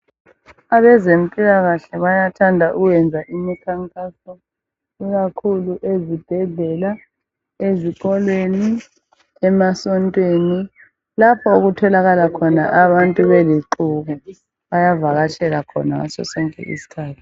Abezempilakahle bayathanda ukwenza imikhankaso ikakhulu ezibhedlela, ezikolweni, emasontweni lapho okutholakala abantu belixuku bayavakatshela khona ngasosonke isikhathi.